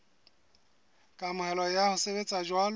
kamohelo ya ho sebetsa jwalo